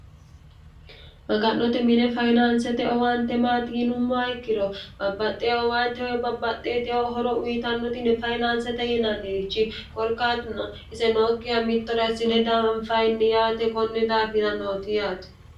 maga'note mine fayinaansete owaante maatiinummo ikkiro babbaxxe owaanteho babbaxxe eteh horo uyitannotinne fayinaansete yenaannirichi gorkaatuna ise nookkiha mittorassine danfayinni yaate konni daafira nooti yaate